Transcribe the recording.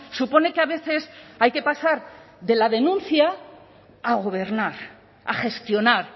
supone que a veces hay que pasar de la denuncia a gobernar a gestionar